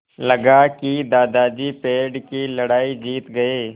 लगा कि दादाजी पेड़ की लड़ाई जीत गए